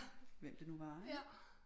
Hvem det nu var ikke